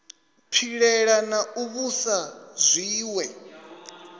pilela na u vhusa zwiwe